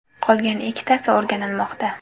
Qolgan ikkitasi o‘rganilmoqda.